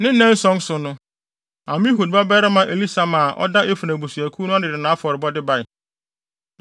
Ne nnanson so no, Amihud babarima Elisama a ɔda Efraim abusuakuw ano no de nʼafɔrebɔde bae.